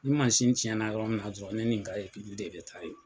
Ni masin tiɲɛna yɔrɔ min na dɔrɔn ne nin n ka de bɛ taa yen.